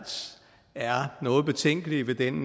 er noget betænkelige ved den